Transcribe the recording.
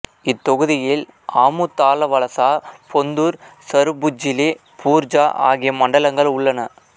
இத்தொகுதியில் ஆமுதாலவலசா பொந்தூர் சருபுஜ்ஜிலி பூர்ஜா ஆகிய மண்டலங்கள் உள்ளன